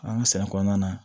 An ka sɛnɛ kɔnɔna na